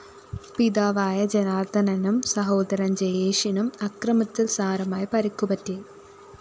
പിതാവായ ജനാര്‍ദ്ദനനും സഹോദരന്‍ ജയേഷിനും അക്രമത്തില്‍ സാരമായ പരിക്കുപറ്റി